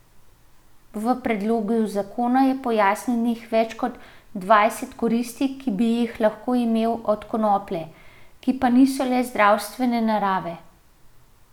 V predlogu zakona je pojasnjenih več kot dvajset koristi, ki bi jih lahko imeli od konoplje, ki pa niso le zdravstvene narave.